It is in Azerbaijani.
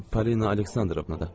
Polina Aleksandrovna da.